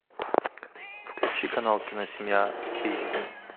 включи канал киносемья эйч ди